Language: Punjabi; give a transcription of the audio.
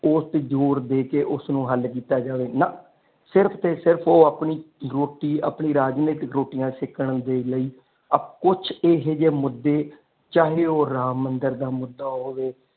ਓਸਤੇ ਜ਼ੋਰ ਦੇ ਕੇ ਉਸਨੂੰ ਹੱਲ ਕੀਤਾ ਜਾਵੇ ਨਾ ਸਿਰਫ ਤੇ ਸਿਰਫ ਉਹ ਆਪਣੀ ਰੋਟੀ ਆਪਣੀ ਰਾਜਨੀਤਿਕ ਰੋਟੀਆਂ ਸੇਕਣ ਦੇ ਲਈ ਆਪ ਕੁਛ ਏਹੋ ਜੇ ਮੁਦੇ ਚਾਹੇ ਉਹ ਰਾਮ ਮੰਦਰ ਦਾ ਮੁਦਾ ਹੋਵੇ।